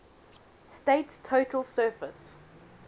state's total surface